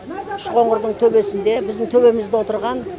үшқоңырдың төбесінде біздің төбемізде отырған